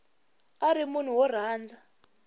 a ri munhu wo rhandza